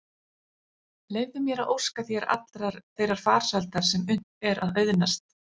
Leyfðu mér að óska þér allrar þeirrar farsældar sem unnt er að auðnast.